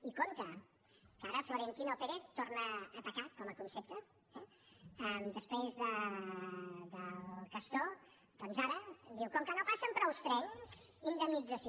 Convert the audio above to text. i compte que ara florentino pérez torna a atacar com a concepte eh després del castor doncs ara diu com que no passen prou trens indemnització